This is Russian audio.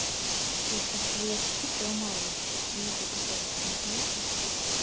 я сейчас твои очки сломаю и в жопу тебе засуну понятно